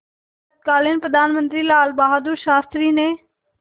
तत्कालीन प्रधानमंत्री लालबहादुर शास्त्री ने